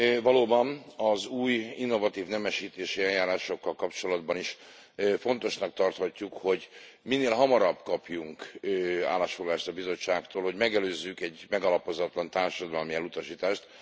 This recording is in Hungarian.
Valóban az új, innovatív nemesítési eljárásokkal kapcsolatban is fontosnak tarthatjuk, hogy minél hamarabb kapjunk állásfoglalást a Bizottságtól, hogy megelőzzünk egy megalapozatlan társadalmi elutasítást.